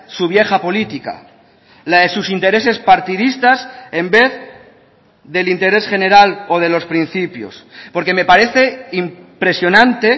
su vieja política la de sus intereses partidistas en vez del interés general o de los principios porque me parece impresionante